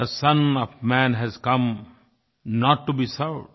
थे son of man has come not to be served